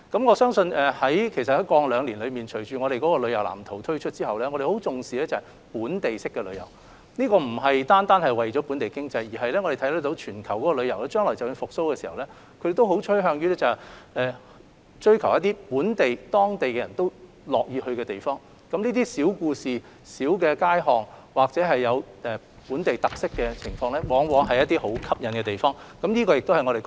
我相信過去兩年，隨着我們的旅遊藍圖推出之後，展示了我們對本地式的旅遊的重視，這不單是為了推動本地經濟，而是我們看到全球的旅遊模式和趨勢，將來旅遊業復蘇後亦會趨向追求本地化、當地人都樂意遊玩的地方，譬如一些小故事、大街小巷或有本地特色的事物，往往是能吸引遊客的要素。